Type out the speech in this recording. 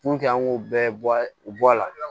an ŋ'o bɛɛ bɔ u bɔ a la